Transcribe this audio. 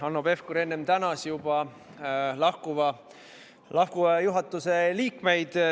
Hanno Pevkur enne tänas juba lahkuva juhatuse liikmeid.